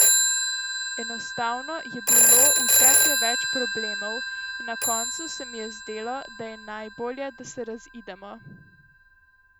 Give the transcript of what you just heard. Enostavno je bilo vse preveč problemov in na koncu se mi je zdelo, da je najbolje, da se razidemo.